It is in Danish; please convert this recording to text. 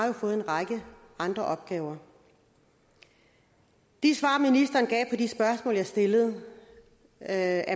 har fået en række andre opgaver de svar ministeren gav på de spørgsmål jeg stillede er